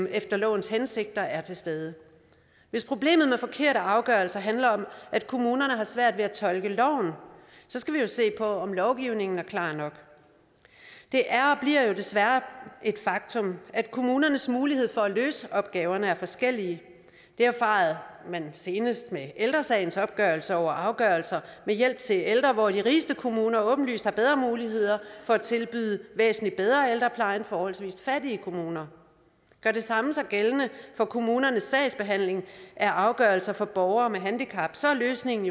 efter lovens hensigter er til stede hvis problemet med forkerte afgørelser handler om at kommunerne har svært ved at tolke loven så skal vi jo se på om lovgivningen er klar nok det er og bliver jo desværre et faktum at kommunernes mulighed for at løse opgaverne er forskellige det erfarede man senest med ældre sagens opgørelse over afgørelser med hjælp til ældre hvor de rigeste kommuner åbenlyst har bedre muligheder for at tilbyde en væsentlig bedre ældrepleje end forholdsvis fattige kommuner gør det samme sig gældende for kommunernes sagsbehandling af afgørelser for borgere med handicap så er løsningen